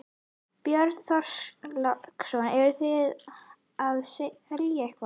Björn Þorláksson: Eruð þið að selja eitthvað?